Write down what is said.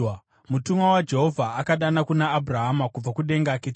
Mutumwa waJehovha akadana kuna Abhurahama kubva kudenga kechipiri